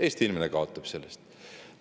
Eesti inimene kaotab sellest.